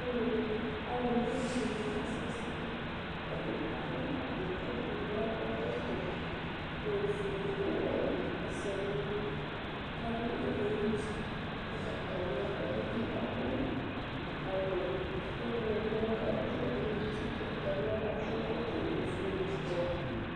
Alʋɛdɩnɩ, alʋna ɔlʋ dɩnɩ asɛsɛ Ɛdɩ adʋ awʋ ʋblʋ kʋ akɔ ɛkɔtɔ ofue kʋ ɔwɛ asɛ nʋ ayili kʋ adʋ ɛlɛnʋti ʋgbatawla Ɛdɩ bɩ adʋ awʋ ɔɣlɔmɔ kʋ adʋ ɛlɛnʋti ʋgbatawla kʋ akɔ ɛkɔtɔ ofue nʋ ɔwɛ